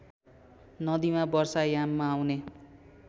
नदीमा वर्षायाममा आउने